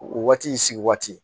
O waati sigi waati